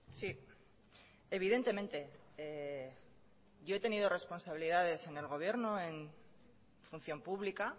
sí evidentemente yo he tenido responsabilidades en el gobierno en función pública